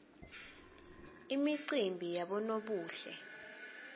imicimbi yabonobuhle